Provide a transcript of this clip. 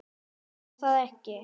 Má það ekki?